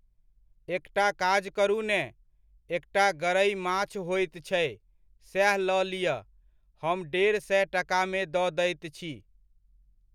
एकटा काज करू ने, एकटा गरइ माछ होइत छै सेह लऽ लिअ, हम डेढ़ सए टकामे दऽ दैत छी।